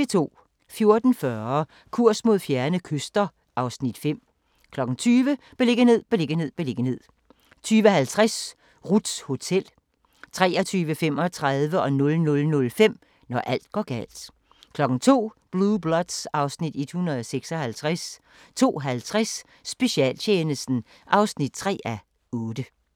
14:40: Kurs mod fjerne kyster (Afs. 5) 20:00: Beliggenhed, beliggenhed, beliggenhed 20:50: Ruths hotel 23:35: Når alt går galt 00:05: Når alt går galt 02:00: Blue Bloods (Afs. 156) 02:50: Specialtjenesten (3:8)